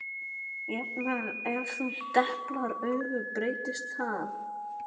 Jafnvel ef þú deplar auga breytist það.